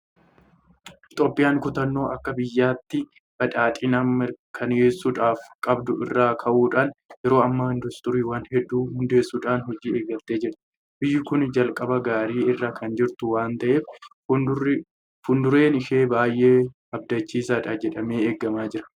Itoophiyaan kutannoo akka biyyaatti badhaadhina mirkaneessuudhaaf qabdu irraa ka'uudhaan Yeroo ammaa Induustiriiwwan hedduu hundeessuudhaan hojii eegaltee jirti. Biyyi kun jalqabbii gaarii irra kan jirtu waanta ta'eef fuuldureen ishee baay'ee abdachiisaadha jedhamee eegamaa jira.